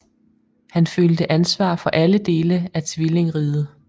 Han følte ansvar for alle dele af tvillingriget